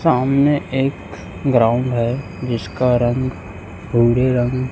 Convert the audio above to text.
सामने एक ग्राउंड है जिसका रंग रंग--